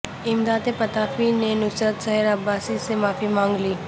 امداد پتافی نے نصرت سحر عباسی سے معافی مانگ لی